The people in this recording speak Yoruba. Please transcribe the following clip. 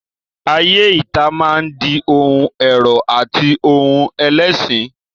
Ayé ìta máa di ohun ẹ̀rọ̀ àti ohun ẹ̀lẹ̀ síi.